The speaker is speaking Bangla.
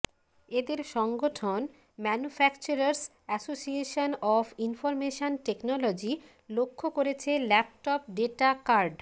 এদের সংগঠন manufacturers association of information technology লক্ষ্য করেছে ল্যাপটপ ডেটা কার্ড